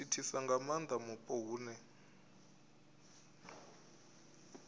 thithisa nga maanda mupo hune